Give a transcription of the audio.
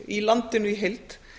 í landinu í heild